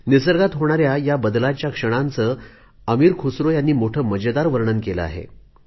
निसर्गात होणाऱ्या या बदलाच्या क्षणाचे अमिर खुसरो यांनी मोठे मजेदार वर्णन केले आहे